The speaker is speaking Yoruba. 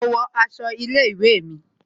Mo ń wo aṣọ ilé ìwé mi